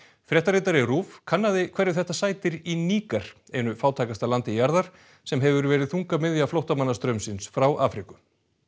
fréttaritari RÚV kannaði hverju þetta sætir í Níger einu fátækasta landi jarðar sem hefur verið þungamiðja flóttamannastraumsins frá Afríku